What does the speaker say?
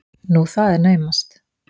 Nú, það er naumast!